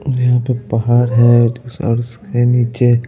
यहां पे पहाड़ है और उसके नीचे --